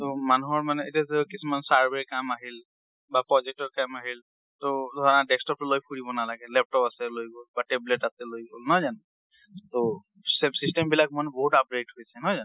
ট মানুহৰ মানে এতিয়া যে কিছুমান survey ৰ কাম আহিল বা project ৰ কাম আহিল, ট ধৰা desktop টো লৈ ফুৰিব নালাগে, laptop আছে লৈ গল, বা tablet আছে লৈ গল, নহয় জানো? ট, system বিলাক মানে বহুত upgrade হৈছে, নহয় জানো?